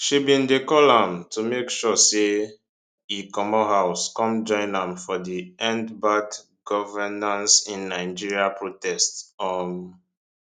she bin dey call am to make sure say e comot house come join am for di endbadgovernanceinnigeria protest um